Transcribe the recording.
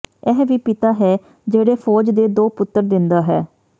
ਇਹ ਵੀ ਪਿਤਾ ਹੈ ਜਿਹੜੇ ਫ਼ੌਜ ਦੇ ਦੋ ਪੁੱਤਰ ਦਿੰਦਾ ਹੈ